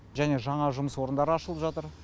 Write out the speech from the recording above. және жаңа жұмыс орындары ашылып жатыр